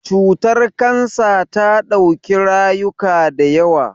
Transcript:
Cutar Kansa ta dauki rayuka da yawa.